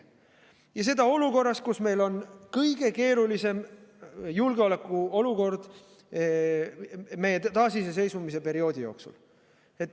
Ja see toimub olukorras, kus meil on kõige keerulisem julgeolekuolukord meie taasiseseisvuse perioodi jooksul.